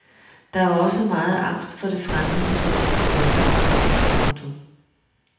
Der var også meget angst for det fremmede i den danske folkeafstemning. punktum